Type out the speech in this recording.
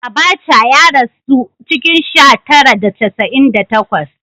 Abaca ya rasu a cikin sha tara da casa’in da takwas